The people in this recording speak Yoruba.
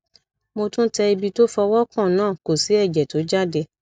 mo tún tẹ ibi tó fọwọ kàn náà kò sì ẹjẹ tó jáde